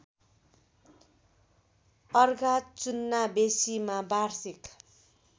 अर्घाचुन्नाबेसीमा वार्षिक